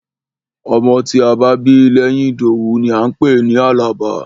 Ọmọ tí a bá bí lẹ́yìn Ìdòwú ni à ń pè ní Àlàbá.